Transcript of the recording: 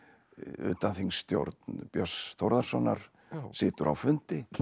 utanþingsstjórn Björns Þórðarsonar situr á fundi